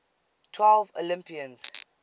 twelve olympians